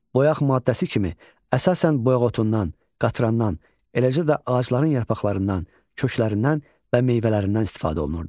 Boyaq maddəsi kimi əsasən boyağotundan, qatrannan, eləcə də ağacların yarpaqlarından, köklərindən və meyvələrindən istifadə olunurdu.